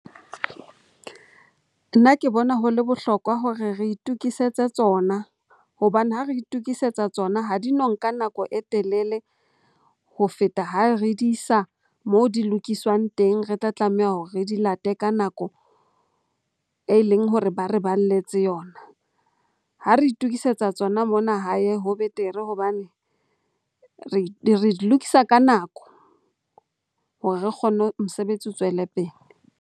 Nna ke bona ho le bohlokwa hore re itokisetse tsona hobane ha re itokisetsa tsona, ha di no nka nako e telele ho feta ha re di sa mo di lokiswang teng. Re tla tlameha hore re di late ka nako e leng hore ba re balletse yona. Ha re itokisetsa tsona mona hae ho betere hobane re di lokisa ka nako hore re kgone, mosebetsi o tswele pele.